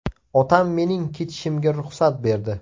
Otam mening ketishimga ruxsat berdi.